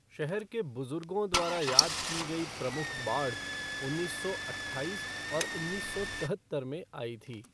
शहर के बुजुर्गों द्वारा याद की गई प्रमुख बाढ़ उन्नीस सौ अट्ठाईस और उन्नीस सौ चौहत्तर में आई थी।